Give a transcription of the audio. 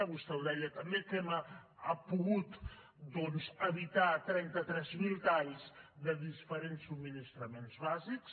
vostè ho deia també que hem pogut doncs evitar trenta tres mil talls de diferents subministraments bàsics